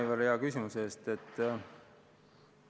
Aitäh, Aivar, hea küsimuse eest!